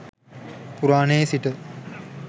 පුරාණයේ සිට